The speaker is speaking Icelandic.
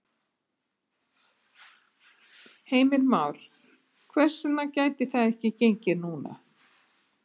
Heimir Már: Hvers vegna gæti það ekki gengið núna?